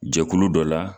Jɛkulu dɔ la